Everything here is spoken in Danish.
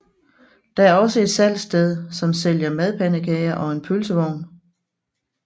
Der er også et salgsted som sælger madpandekager og en pølsevogn